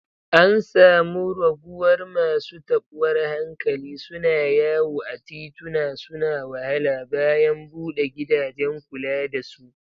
An samu raguwar masu tabuwar hankali suna yawo a tituna suna wahala, bayan bude gidajen kula da su